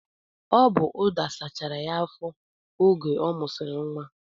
Ọ bu ụda sachara ya afọ oge ọ musiri nwa